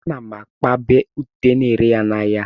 Ana m akpabu ute na-ere ya n'ahịa.